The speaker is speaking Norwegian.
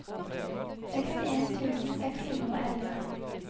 sekstien tusen seks hundre og elleve